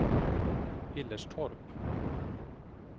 Hillerstorp